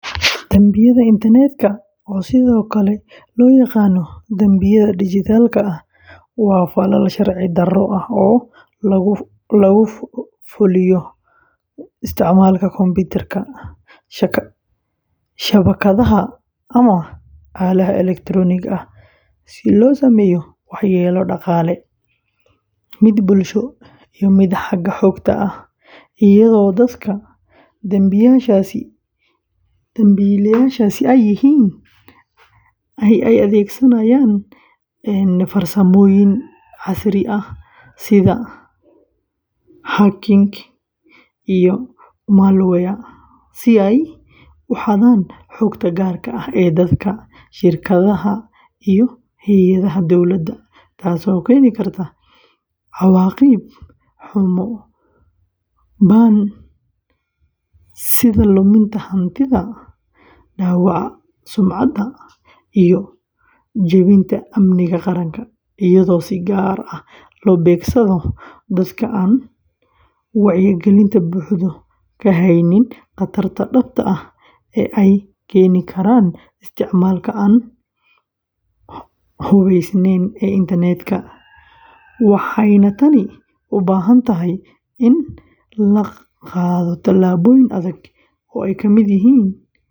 Dambiyada internetka, oo sidoo kale loo yaqaan dambiyada dhijitaalka ah, waa falal sharci-darro ah oo lagu fulo isticmaalka kombiyuutarada, shabakadaha, ama aaladaha elektarooniga ah si loo sameeyo waxyeello dhaqaale, mid bulsho, iyo mid xagga xogta ah, iyadoo dadka dambiilayaasha ahi ay adeegsadaan farsamooyin casri ah sida hacking, and malware si ay u xadaan xogta gaarka ah ee dadka, shirkadaha, iyo hay’adaha dowladda, taasoo keeni karta cawaaqib xumo ba'an sida luminta hantida, dhaawaca sumcadda, iyo jebinta amniga qaranka, iyadoo si gaar ah loo beegsado dadka aan wacyigelinta buuxda ka haynin khataraha dhabta ah ee ay keeni karaan isticmaalka aan hubaysnayn ee internetka, waxayna tani u baahan tahay in la qaato tallaabooyin adag oo ay ka mid yihiin.